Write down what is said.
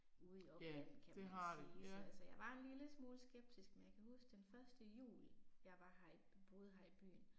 Ude i offentligheden kan man sige, så altså jeg var en lille smule skeptisk men jeg kan huske den første jul jeg var her, boede her i byen